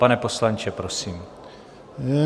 Pane poslanče, prosím.